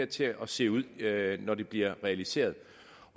til at se ud når det bliver realiseret